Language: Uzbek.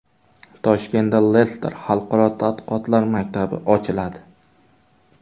Toshkentda Lester xalqaro tadqiqotlar maktabi ochiladi.